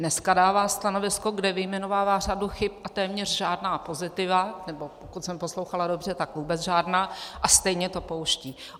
Dneska dává stanovisko, kde vyjmenovává řadu chyb, a téměř žádná pozitiva, nebo pokud jsem poslouchala dobře, tak vůbec žádná, a stejně to pouští.